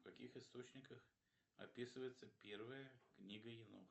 в каких источниках описывается первая книга